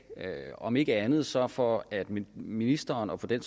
om ikke andet så for at ministeren og for den